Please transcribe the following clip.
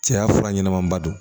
Cɛya fura ɲɛnamaba don